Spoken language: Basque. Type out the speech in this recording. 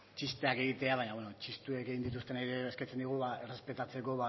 txisteak egitea baino bueno txistuek egin dituztenei ere eskatzen diegu ba errespetatzeko